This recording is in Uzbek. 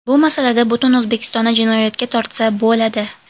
Bu masalada butun O‘zbekistonni jinoyatga tortsa bo‘ladi.